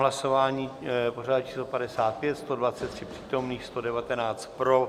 Hlasování pořadové číslo 55, 123 přítomných, 119 pro.